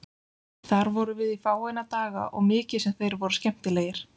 Þar vorum við í fáeina daga og mikið sem þeir voru skemmtilegir.